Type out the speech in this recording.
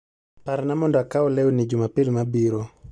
Parna mondo akaw lewni Jumapil mabiro